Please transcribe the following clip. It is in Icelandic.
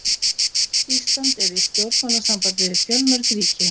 Ísland er í stjórnmálasambandi við fjölmörg ríki.